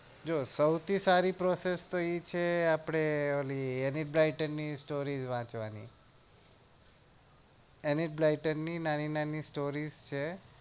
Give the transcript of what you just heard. જો સૌથી સારી process તો એ છે આપડે ઓલી any blighter ની story વાચવાની any blighter ની નાની નાની stories છે